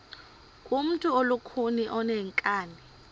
ngumntu olukhuni oneenkani